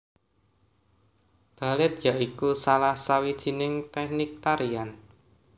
Balèt ya iku salah sawijining tèknik tarian